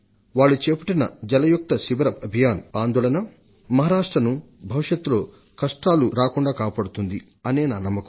వాళ్లు చేపట్టిన జలయుక్త శిబిర అభియాన్ మహారాష్ట్రను భవిష్యత్లో కష్టాలు రాకుండా కాపాడుతుందన్నదే నా నమ్మకం